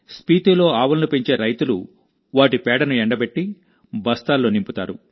స్పీతీలో ఆవులను పెంచే రైతులు వాటి పేడను ఎండబెట్టి బస్తాల్లో నింపుతారు